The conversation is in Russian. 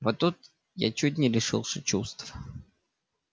вот тут я чуть не лишился чувств